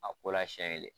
A ko la siɲɛ kelen